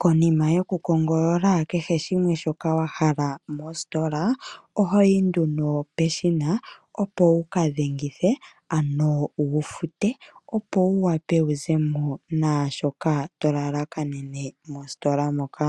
Konima yokukongolola kehe shimwe shoka wa hala mositola oho yi nduno peshina, opo wu ka dhengithe, ano wu fute, opo wu wape wu ze mo naashoka to lalakanene mositola moka.